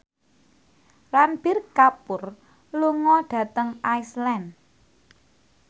Ranbir Kapoor lunga dhateng Iceland